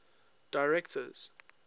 directors